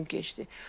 Gün keçdi.